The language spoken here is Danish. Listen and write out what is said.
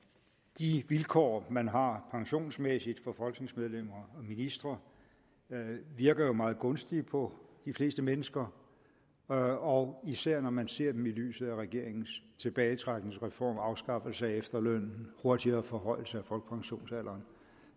de vilkår man har pensionsmæssigt for folketingsmedlemmer og ministre virker meget gunstige på de fleste mennesker og og især når man ser dem i lyset af regeringens tilbagetrækningsreform afskaffelse af efterlønnen og hurtigere forhøjelse af folkepensionsalderen